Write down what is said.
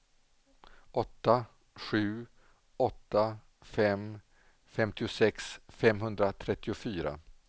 åtta sju åtta fem femtiosex femhundratrettiofyra